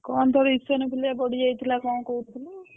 କଣ ତୋର Eosinophilia ବଢି ଯାଇଥିଲା ନା କଣ କହୁଥିଲୁ?